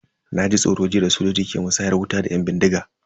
Na ji tsoro jiya da sojojin ke musayar wuta da yan bindigan.